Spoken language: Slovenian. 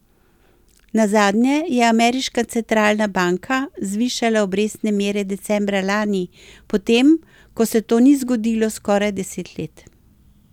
Nazadnje je ameriška centralna banka zvišala obrestne mere decembra lani, potem ko se to ni zgodilo skoraj deset let.